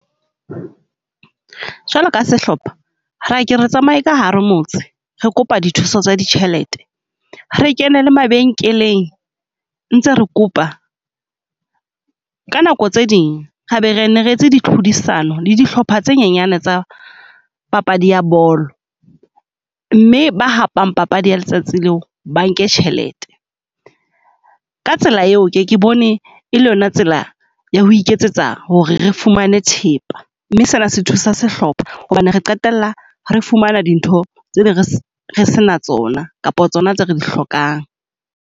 Jwalo ka sehlopha re ke re tsamaye ka hare motse, re kopa dithuso tsa ditjhelete re kene le mabenkeleng ntse re kopa. Ka nako tse ding ra be re nne re etse di tlhodisano le dihlopha tse nyenyane tsa papadi ya bolo. Mme ba hapang papadi ya letsatsi leo ba nke tjhelete, ka tsela eo ke ke bone e le yona tsela ya ho iketsetsa ho re re fumane thepa. Mme sena se thusa sehlopha hobane re qetella re fumana dintho tse , re sena tsona kapa tsona tse re di hlokang.